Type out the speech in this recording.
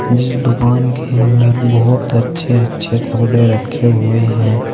जिस दुकान के अंदर बहुत अच्छे अच्छे कपड़े रखे हुए हैं।